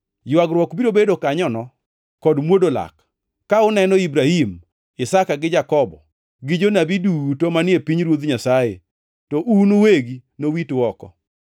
“Ywagruok biro bedo kanyono, kod mwodo lak, ka uneno Ibrahim, Isaka gi Jakobo gi jonabi duto manie pinyruoth Nyasaye to un uwegi nowitu oko.